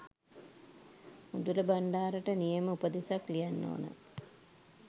උඳුල බණ්ඩාරට නියම උපදෙසක් ලියන්න ඕන